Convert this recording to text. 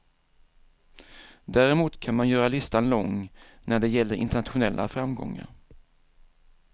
Däremot kan man göra listan lång när det gäller internationella framgångar.